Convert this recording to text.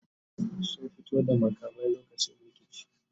sun fito da makami lokacin rikici